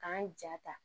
K'an ja ta